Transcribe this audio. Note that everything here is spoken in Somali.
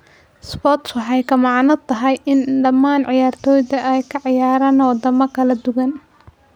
"Sports waxay la macno tahay in dhamaan ciyaartoyda ay ka ciyaaraan wadamo kala duwan".